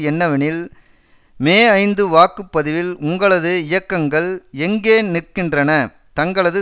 என்னவெனில் மேஐந்து வாக்கு பதிவில் உங்களது இயக்கங்கள் எங்கே நிற்கின்றன தங்களது